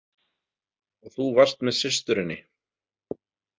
Og þú varst með systurinni?